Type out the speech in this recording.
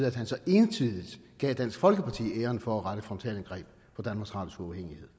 at han så entydigt gav dansk folkeparti æren for at rette et frontalangreb mod